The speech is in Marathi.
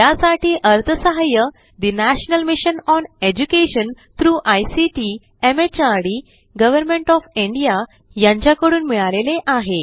यासाठी अर्थसहाय्य national mission on education through ICT MHRD government of India यांच्याकडून मिळालेले आहे